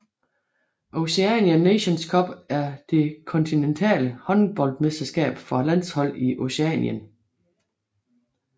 Oceania Nations Cup er det kontinentale håndboldmesterskab for landshold i Oceanien